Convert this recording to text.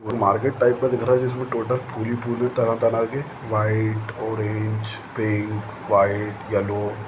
market type का दिख रहा है जिसमे टोटल फूल ही फूल है तरह तरह के white orange pink white yellow--